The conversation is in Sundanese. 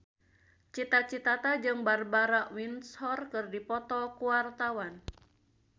Cita Citata jeung Barbara Windsor keur dipoto ku wartawan